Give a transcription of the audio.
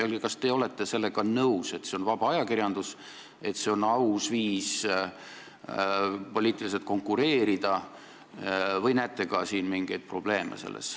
Öelge, kas te olete sellega nõus, et see on vaba ajakirjandus, see on poliitilise konkureerimise aus viis, või näete selles nähtuses ka mingeid probleeme.